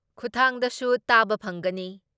ꯈꯨꯠꯊꯥꯡꯗꯁꯨ ꯇꯥꯕ ꯐꯪꯒꯅꯤ ꯫